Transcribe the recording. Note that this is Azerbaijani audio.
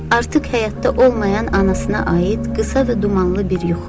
Artıq həyatda olmayan anasına aid qısa və dumanlı bir yuxu.